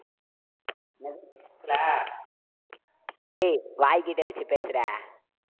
ஏய், வாய்கிட்ட வச்சு பேசுடா.